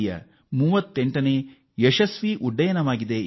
ಯ 38ನೇ ಸತತ ಯಶಸ್ವಿ ಉಡಾವಣೆಯಾಗಿದೆ